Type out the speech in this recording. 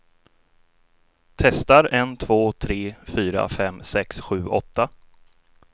Testar en två tre fyra fem sex sju åtta.